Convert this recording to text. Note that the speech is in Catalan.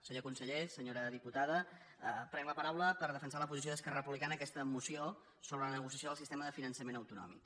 senyor conseller senyora diputada prenc la paraula per defensar la posició d’esquerra republicana en aquesta moció sobre la negociació del sistema de finançament autonòmic